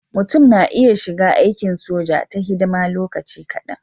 Mutum na iya shiga aikin soja ta hidima lokaci kadan.